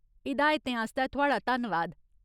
हिदायतें आस्तै थुआढ़ा धन्नवाद।